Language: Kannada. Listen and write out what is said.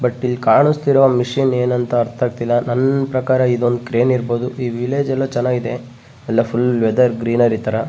ಬಟ್ ಇಲ್ಲಿ ಕಾಣಿಸ್ತಿರುವ ಮೆಶೀನ್ ಏನುಂತ ಅರ್ತ ಆಗ್ತಿಲ್ಲ ನನ್ನ್ ಪ್ರಕಾರ ಇದೊಂದು ಕ್ರೇನ್ ಇರ್ಬಹುದು ಈ ವಿಲೇಜ್ ಅಲ್ಲು ಚನ್ನಾಗ್ ಇದೆ ಎಲ್ಲ ಫುಲ್ಲ್ ವೆದರ್ ಗ್ರೀನರಿ ತರ.